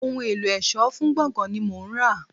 Ohun èlò ẹ̀ṣọ́ fún gbọ̀ngán ni mò ń rà.